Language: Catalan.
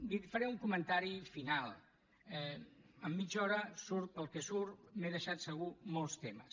li faré un comentari final en mitja hora surt el que surt m’he deixat segur molts temes